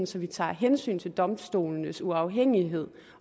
så vi tager hensyn til domstolenes uafhængighed